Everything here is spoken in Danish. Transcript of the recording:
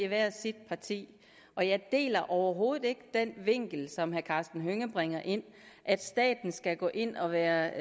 hvert sit parti og jeg deler overhovedet ikke den vinkel som herre karsten hønge bringer ind at staten skal gå ind og være